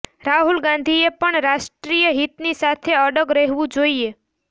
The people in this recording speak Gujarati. રાહુલ ગાંધીએ પણ રાષ્ટ્રીય હિતની સાથે અડગ રહેવું જોઈએ